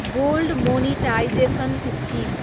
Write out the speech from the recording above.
gold monetisation scheme